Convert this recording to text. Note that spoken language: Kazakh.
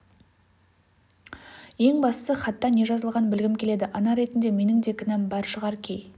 ең бастысы хатта не жазылғанын білгім келеді ана ретінде менің де кінәм бар шығар кей